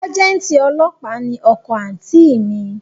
Sájẹ́ǹtì ọlọ́pàá ni ọkọ àǹtí i mi